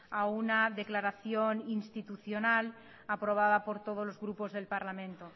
a una declaración institucional aprobada por todos los grupos del parlamento